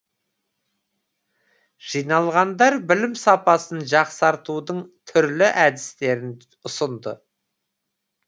жиналғандар білім сапасын жақсартудың түрлі әдістерін ұсынды